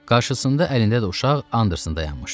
Qarşısında əlində də uşaq Anderson dayanmışdı.